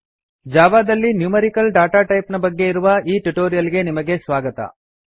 Java ದಲ್ಲಿ numerical data type ನ ಬಗ್ಗೆ ಇರುವ ಈ ಟ್ಯುಟೋರಿಯಲ್ ಗೆ ನಿಮಗೆ ಸ್ವಾಗತ